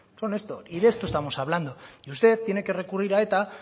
son esto y de esto estamos hablando y usted tiene que recurrir a eta